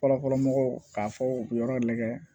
Fɔlɔfɔlɔ mɔgɔw k'a fɔ u bɛ yɔrɔ lajɛ